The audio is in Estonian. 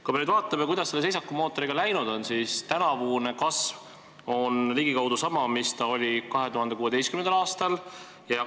Kui me nüüd vaatame, kuidas selle seisakumootoriga läinud on, siis tänavune kasv on ligikaudu sama, mis ta oli 2016. aastal.